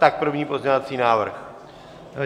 Tak první pozměňovací návrh.